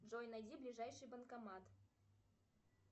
джой найди ближайший банкомат